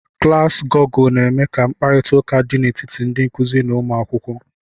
Klaasị Gọgụl na-eme ka mkparịta ụka dị n'etiti ndị nkụzi n'ụmụ akwụkwọ.